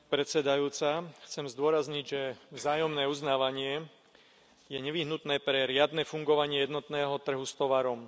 Vážená pani predsedajúca, chcem zdôrazniť, že vzájomné uznávanie je nevyhnutné pre riadne fungovanie jednotného trhu s tovarom.